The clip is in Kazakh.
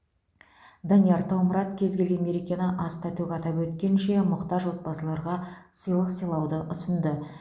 данияр таумұрат кез келген мерекені аста төк атап өткенше мұқтаж отбасыларға сыйлық сыйлауды ұсынды